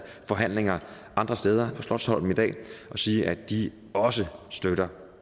forhandlinger andre steder på slotsholmen i dag og sige at de også støtter